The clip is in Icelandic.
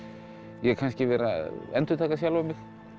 ég vera að endurtaka sjálfan mig